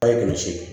A' ye gosi ye